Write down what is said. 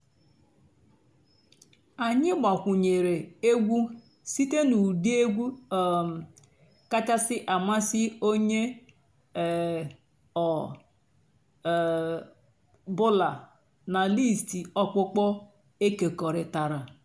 ányị́ gbakwùnyèré ègwú sìté nà ụ́dị́ ègwú um kàchàsị́ àmásị́ ónyé um ọ̀ um bụ́là nà lístì ọ̀kpụ́kpọ́ èkèkọ̀rị́tárá.